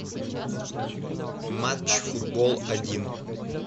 матч футбол один